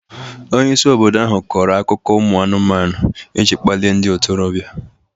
Onye isi obodo ahụ kọrọ akụkọ umu anụmanụ iji kpalie ndị ntorobịa.